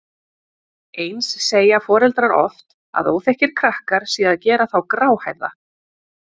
Eins segja foreldrar oft að óþekkir krakkar séu að gera þá gráhærða.